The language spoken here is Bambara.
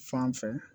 Fan fɛ